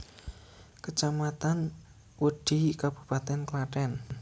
Kecamatan Wedhi Kabupaten Klaten